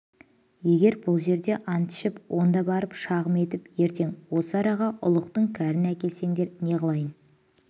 егер бұл жерде ант ішіп онда барып шағым етіп ертең осы араға ұлықтың кәрін әкелсендер неғылайын